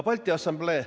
Balti Assamblee ...